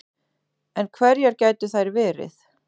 En hverjar gætu þær verið